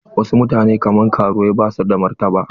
Wasu mutane kaman karuwai basu da martaba.